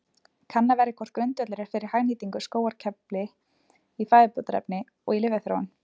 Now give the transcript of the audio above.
Kannað verður hvort grundvöllur er fyrir hagnýtingu á skógarkerfli í fæðubótarefni og í lyfjaþróun.